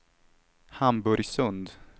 Hamburgsund